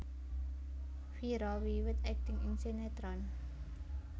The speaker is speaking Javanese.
Vira wiwit akting ing sinétron